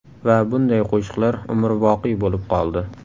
Va bunday qo‘shiqlar umrboqiy bo‘lib qoldi.